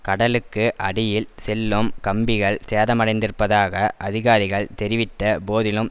கடலுக்கு அடியில் செல்லும் கம்பிகள் சேதமடைந்திருப்பதாக அதிகாரிகள் தெரிவித்த போதிலும்